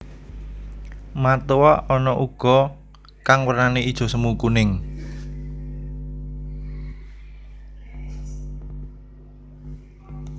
Matoa ana uga kang wernané ijo semu kuning